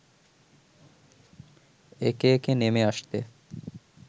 একে একে নেমে আসতে